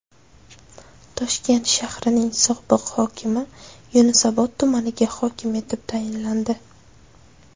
Toshkent shahrining sobiq hokimi Yunusobod tumaniga hokim etib tayinlandi.